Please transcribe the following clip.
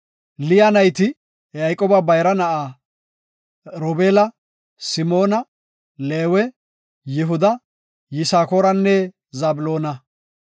Liya nayti Yayqooba bayra na7a Robeela, Simoona, Leewe, Yihuda, Yisakooranne Zabloona.